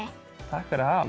takk fyrir